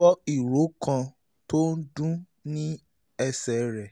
o gbọ́ ìró kan tó ń dún ní ẹsẹ̀ um rẹ